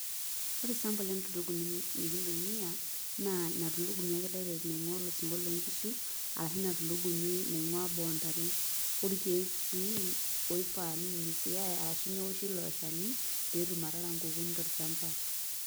ore sample entulugumi nikintumia naa ina tulugumi ake direct naing'uaa olosinko loo nkishu ashu ina tulugumi, naing'uaa boo oontare, orkeek sii oifaa ninyunyusitae arashu neoshi ilo shani, pee etum atara nkukuni tolchamapa.